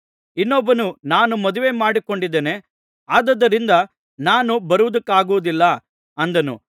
ಇನ್ನೊಬ್ಬನು ನಾನು ಮದುವೆಮಾಡಿಕೊಂಡಿದ್ದೇನೆ ಆದುದರಿಂದ ನಾನು ಬರುವುದಕ್ಕಾಗುವುದಿಲ್ಲ ಅಂದನು